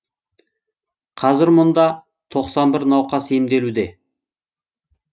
қазір мұнда тоқсан бір науқас емделуде